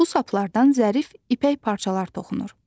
Bu saplardan zərif ipək parçalar toxunur.